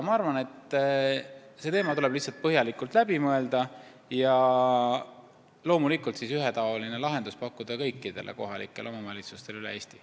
See teema tuleb lihtsalt põhjalikult läbi mõelda ja siis loomulikult ühetaoline lahendus pakkuda kõikidele kohalikele omavalitsustele üle Eesti.